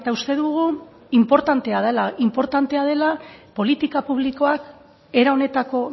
uste dugu inportantea dela politika publikoak era honetako